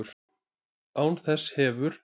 Án þess hefur